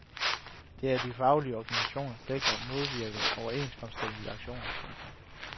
Det er de faglige organisationers pligt til at modvirke overenskomststridige aktioner. punktum